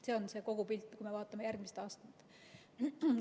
See on kogu pilt, kui me vaatame järgmist aastat.